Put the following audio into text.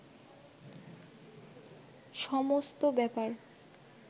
সমস্ত ব্যাপার